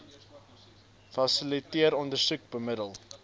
fasiliteer ondersoek bemiddel